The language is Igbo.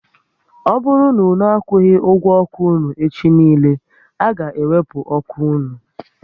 Ọ bụrụ na unu akwughi ụgwọ ọkụ unu echi niile, a ga ewepu ọkụ unu